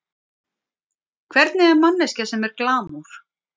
Hvernig er manneskja sem er glamúr?